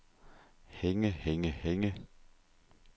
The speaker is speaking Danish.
hænge hænge hænge